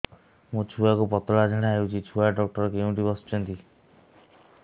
ମୋ ଛୁଆକୁ ପତଳା ଝାଡ଼ା ହେଉଛି ଛୁଆ ଡକ୍ଟର କେଉଁଠି ବସୁଛନ୍ତି